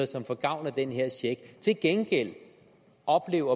som får gavn af den her check til gengæld at opleve